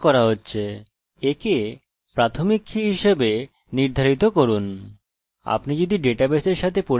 আপনি যদি ডেটাবেসের সাথে পরিচিত না হন তাহলে প্রাথমিক কি এর মত পদ খোঁজা শুরু করা দরকার